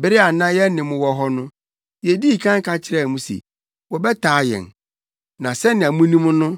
Bere a na yɛne mo wɔ hɔ no, yedii kan ka kyerɛɛ mo se wɔbɛtaa yɛn; na sɛnea munim no